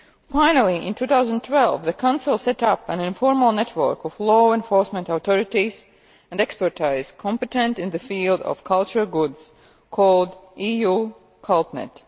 Finally, in 2012 the Council set up an informal network of law enforcement authorities and expertise competent in the field of cultural goods called EU CULTNET.